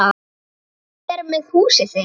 Hvernig er með húsið þitt